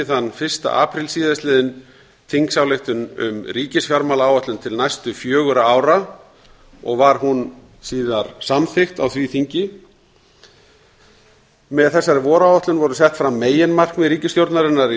þann fyrsta apríl síðastliðinn þingsályktunartillögu um ríkisfjármálaáætlun til næstu fjögurra ára og var hún síðar samþykkt á því þingi með þessari voráætlun voru sett fram meginmarkmið ríkisstjórnarinnar í